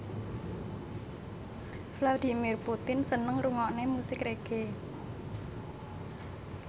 Vladimir Putin seneng ngrungokne musik reggae